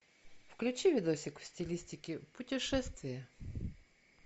включи видосик в стилистике путешествия